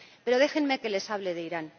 Pero déjenme que les hable de Irán.